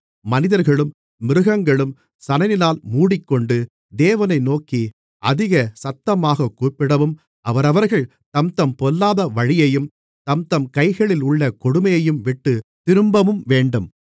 மனிதர்களும் மிருகங்களும் சணலினால் மூடிக்கொண்டு தேவனை நோக்கி அதிக சத்தமாகக் கூப்பிடவும் அவரவர்கள் தம்தம் பொல்லாத வழியையும் தம்தம் கைகளிலுள்ள கொடுமையையும்விட்டுத் திரும்பவும்வேண்டும்